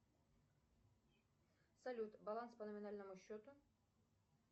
салют баланс по номинальному счету